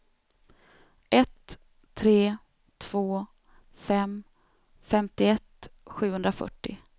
ett tre två fem femtioett sjuhundrafyrtio